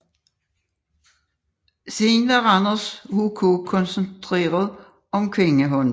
Siden har Randers HK koncentreret om kvindehåndbold